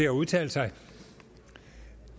at udtale sig